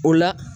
O la